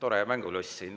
tore mängulust siin.